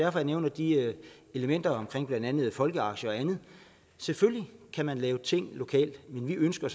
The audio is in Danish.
jeg nævner de elementer om blandt andet folkeaktier og andet selvfølgelig kan man lave ting lokalt men vi ønsker